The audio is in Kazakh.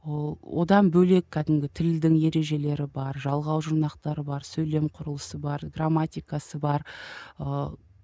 ыыы одан бөлек кәдімгі тілдің ережелері бар жалғау жұрнақтары бар сөйлем құрылысы бар грамматикасы бар ыыы